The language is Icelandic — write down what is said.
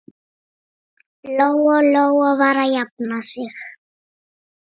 Lóa-Lóa var að jafna sig.